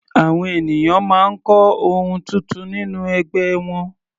Àwọn ènìyàn máa ń kọ́ ohun tuntun nínú ẹgbẹ́ wọn.